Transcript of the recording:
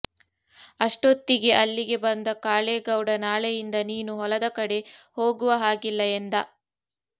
ಅಷ್ಟೊತ್ತಿಗೆ ಅಲ್ಲಿಗೆ ಬಂದ ಕಾಳೇಗೌಡ ನಾಳೆಯಿಂದ ನೀನು ಹೊಲದ ಕಡೆ ಹೋಗುವ ಹಾಗಿಲ್ಲ ಎಂದ